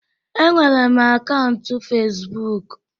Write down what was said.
Enwere m akaụntụ Fezbụk.